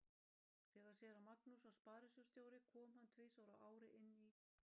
Þegar séra Magnús var sparisjóðsstjóri kom hann tvisvar á ári inn í